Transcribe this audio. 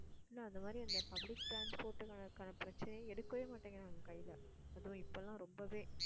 இல்லை அந்த மாதிரி அந்த public transport அதற்கான பிரச்சனைய எடுக்கவே மாட்டேங்குறாங்க கையில அதுவும் இப்ப எல்லாம் ரொம்பவே